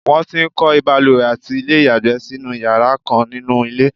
won ti ń kọ́ ìbalùwẹ̀ àti ilé ìyàgbẹ́ sínú iyara kan ninuilé